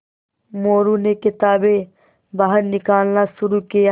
मोरू ने किताबें बाहर निकालना शुरू किया